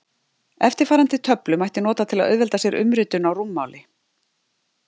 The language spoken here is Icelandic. eftirfarandi töflu mætti nota til að auðvelda sér umritun á rúmmáli